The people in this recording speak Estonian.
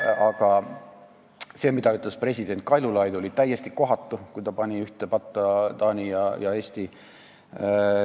Aga see, mida ütles president Kaljulaid, oli täiesti kohatu, kui ta pani ühte patta Taani ja Eesti.